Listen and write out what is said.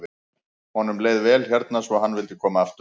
Honum leið vel hérna svo hann vildi koma aftur.